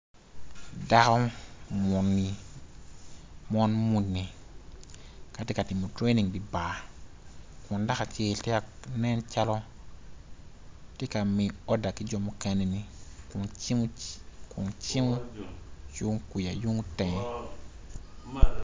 Dako muni mon muni ka tye ka timo tranining idi bar kun dako acel nen cal tye ka miyo oda ki jo mukeneni kun cimo yung tenge.